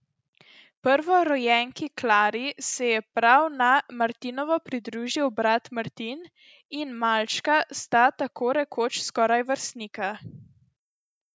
Prvorojenki Klari se je prav na martinovo pridružil brat Martin in malčka sta tako rekoč skoraj vrstnika.